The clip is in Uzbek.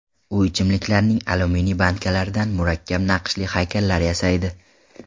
U ichimliklarning alyuminiy bankalaridan murakkab naqshli haykallar yasaydi.